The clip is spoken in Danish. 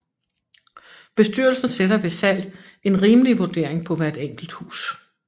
Bestyrelsen sætter ved salg en rimelig vurdering på hvert enkelt hus